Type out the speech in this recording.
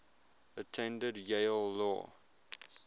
attended yale law